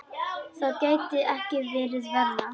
Það gæti ekki verið verra.